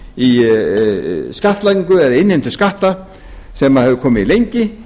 í skattlagningu eða innheimtu skatta sem hefði komið lengi